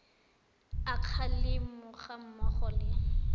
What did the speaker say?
a kgalemo ga mmogo le